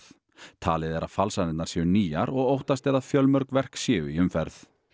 talið er að falsanirnar séu nýjar og óttast er að fjölmörg verk séu í umferð